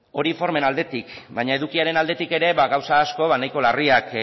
hori formen aldetik baina edukiaren aldetik ere gauza asko nahiko larriak